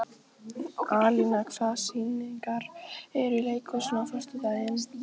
Alína, hvaða sýningar eru í leikhúsinu á föstudaginn?